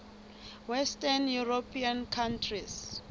western european countries